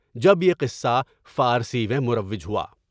جب یہ قصہ فارسی میں مروّج ہوا۔